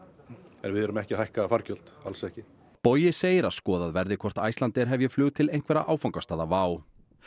en við erum ekki að hækka fargjöld alls ekki bogi segir að skoðað verði hvort Icelandair hefji flug til einhverra áfangastaða WOW